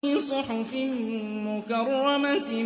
فِي صُحُفٍ مُّكَرَّمَةٍ